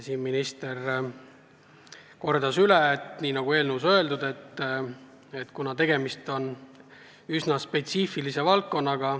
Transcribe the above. Minister kordas üle, et nagu eelnõus öeldud, tegemist on üsna spetsiifilise valdkonnaga.